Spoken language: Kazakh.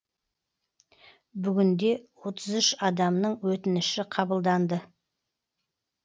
бүгінде отыз үш адамның өтініші қабылданды